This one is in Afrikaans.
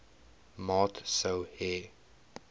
maat sou hê